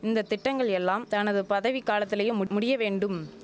இந்த திட்டங்கள் எல்லாம் தனது பதவி காலத்திலேயே முட் முடிய வேண்டும்